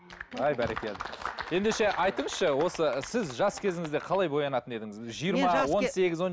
әй бәрекелді ендеше айтыңызшы осы сіз жас кезіңізде қалай боянатын едіңіз жиырма он сегіз он